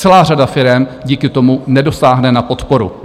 Celá řada firem díky tomu nedosáhne na podporu.